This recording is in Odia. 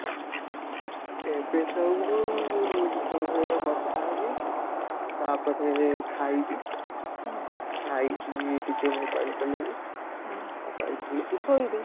ଏବେ ତ ମୁଁ, ତମ ସହିତ କଥା ହେବି, ତାପରେ ଖାଇବି, ଖାଇକି ଟିକେ mobile ଚଳେଇବି, mobile ଚଲେଇକି ଶୋଇବି